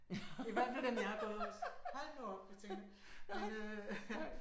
I hvert fald dem jeg har gået hos. Hold nu op jeg tænker men øh